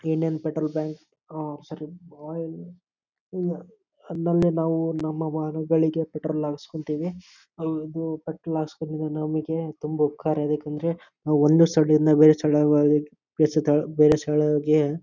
Indian petrol bunk ah sorry oil ಅದನ್ನ ನಾವು ನಮ್ಮ ವಾಹನಗಳಿಗೆ ಪೆಟ್ರೋಲ್ ಹಾಕ್ಸ್ಕೊಳ್ತಿವಿ ಹೌದು ಪೆಟ್ರೋಲ್ ಹಾಕ್ಸೋಳೋದರಿಂದ ನಮಗೆ ತುಂಬಾ ಉಪಕಾರಯಿದೆ ಯಾಕಂದ್ರೆ ನಾವು ಒಂದು ಸ್ಥಳದಿಂದ ಬೇರೆ ಸ್ಥಳ ಹೋಗದಿಕ್ಕೇ ಬೇರೆ ಸ್ಥಳ ಬೇರೆ ಸ್ಥಳಗೆ--